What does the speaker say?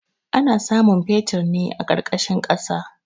Ana samun fetir ne a ƙarƙashin ƙasa.